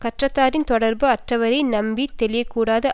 சுற்றத்தாறின் தெடர்பு அற்றவரை நம்பி தெளிய கூடாது